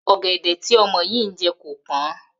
Ò̩gè̩dè̩ tí o̩mo̩ yìí ń je̩ kò pó̩n